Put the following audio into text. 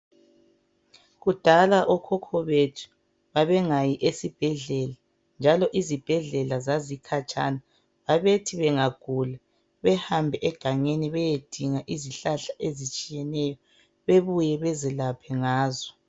Kudala okhokho bethu babengayi esibhedlela njalo izibhedlela zazikhatshana babethi bengagula behambe egangeni beyedinga izihlahla ezitshiyeneyo bebuye bezelaphe ngazo.